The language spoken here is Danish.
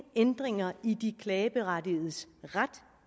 ændringer i de klageberettigedes ret